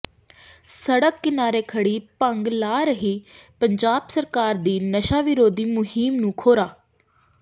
ਸੜਕ ਕਿਨਾਰੇ ਖੜੀ ਭੰਗ ਲਾ ਰਹੀ ਪੰਜਾਬ ਸਰਕਾਰ ਦੀ ਨਸ਼ਾ ਵਿਰੋਧੀ ਮੁਹਿੰਮ ਨੂੰ ਖੋਰਾ